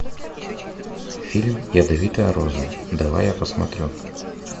фильм ядовитая роза давай я посмотрю